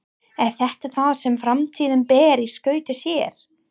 Er þetta það sem framtíðin ber í skauti sér?